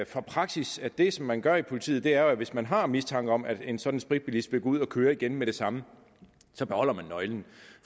fra praksis at det som man gør i politiet er at hvis man har mistanke om at en sådan spritbilist vil gå ud og køre igen med det samme så beholder man nøglen